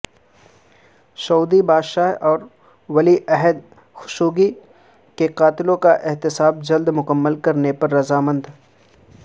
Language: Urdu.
سعودی بادشاہ اور ولی عہد خشوگی کے قاتلوں کا احتساب جلد مکمل کرنے پر رضامند